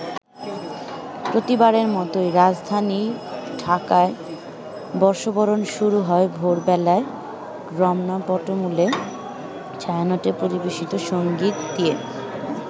প্রতিবারের মতোই রাজধানী ঢাকায় বর্ষবরণ শুরু হয় ভোর বেলায় রমনা বটমূলে ছায়ানটের পরিবেশিত সঙ্গীত দিয়ে।